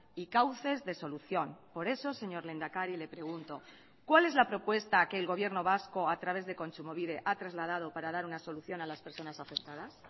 y cauces de solución por eso señor lehendakari le pregunto cuál es la propuesta que el gobierno vasco a través de kontsumobide ha trasladado para dar una solución a las personas afectadas